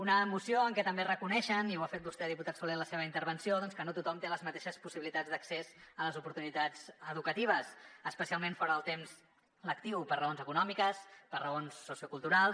una moció en què també reconeixen i ho ha fet vostè diputat solé en la seva intervenció doncs que no tothom té les mateixes possibilitats d’accés a les oportunitats educatives especialment fora del temps lectiu per raons econòmiques per raons socioculturals